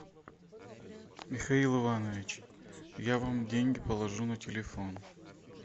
михаил иванович я вам деньги положу на телефон